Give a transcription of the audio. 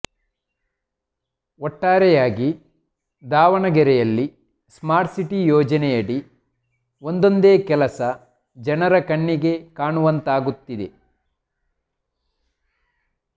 ಒಟ್ಟಾರೆಯಾಗಿ ದಾವಣಗೆರೆಯಲ್ಲಿ smart city ಯೋಜನೆಯಡಿ ಒಂದೊಂದೇ ಕೆಲಸ ಜನರ ಕಣ್ಣಿಗೆ ಕಾಣುವಂತಾಗುತ್ತಿದೆ